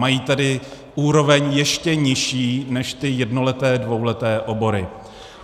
Mají tedy úroveň ještě nižší než ty jednoleté, dvouleté obory.